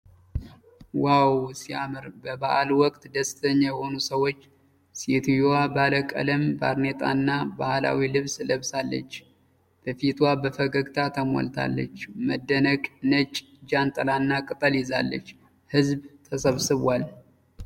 ዋው ሲያምር! በበዓል ወቅት ደስተኛ የሆኑ ሰዎች። ሴትየዋ ባለቀለም ባርኔጣና ባህላዊ ልብስ ለብሳለች። በፊቷ በፈገግታ ተሞልታለች። መደነቅ! ነጭ ጃንጥላና ቅጠል ይዛለች። ሕዝብ ተሰብስቧል።